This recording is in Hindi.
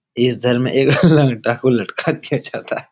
इस धर में एक टाकू लटका दिया जाता है ।